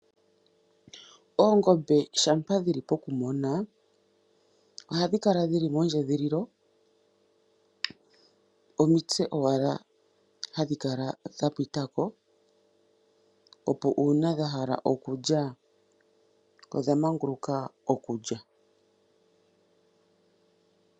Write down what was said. Oongombe shampa dhili pokumona ohadhi kala dhili mondjedhililo omitse owala hadhi kala dha pita ko. Opo uuna dha hala okulya odha manguluka okulya.